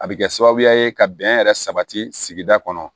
A bɛ kɛ sababuya ye ka bɛn yɛrɛ sabati kɔnɔ